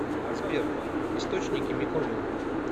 сбер источники мекониум